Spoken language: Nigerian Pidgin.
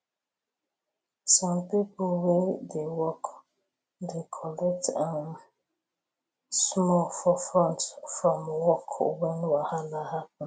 some people wey dey work dey collect um small for front from work when wahala happen